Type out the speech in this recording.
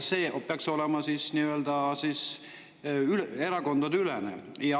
See peaks olema erakondadeülene.